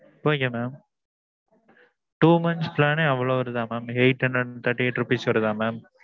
okay mam two months plan யே அவ்வளவு வருதா mam? eight hundred and thirty eight rupees வருதா mam?